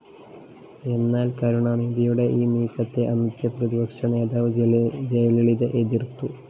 എന്നാല്‍ കരുണാനിധിയുടെ ഈ നീക്കത്തെ അന്നത്തെ പ്രതിപക്ഷനേതാവ്‌ ജയലളിത എതിര്‍ത്തു